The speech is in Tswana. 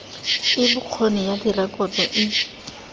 e bokgoni ya direkoto e